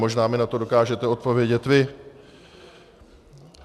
Možná mi na to dokážete odpovědět vy.